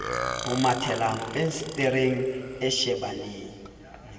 o mathela fensetereng e shebaneng